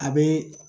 A bɛ